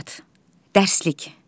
Dərslik.